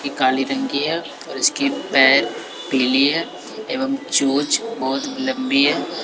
ये काली रंग की है और इसके पैर पीली है एवं चोंच बहोत लम्बी है।